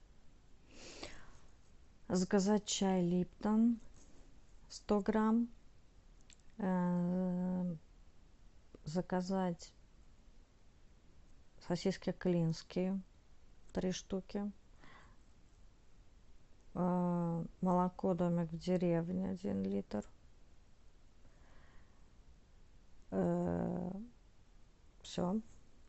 заказать чай липтон сто грамм заказать сосиски клинские три штуки молоко домик в деревне один литр все